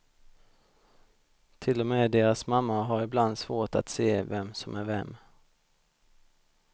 Till och med deras mamma har ibland svårt att se vem som är vem.